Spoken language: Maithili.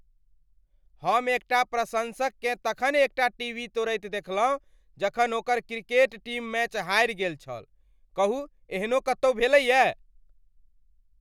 हम एकटा प्रशंसककेँ तखन एकटा टीवी तोड़ैत देखलहुँ जखन ओकर क्रिकेट टीम मैच हारि गेल छल। कहू एहनो कतौ भेलैए।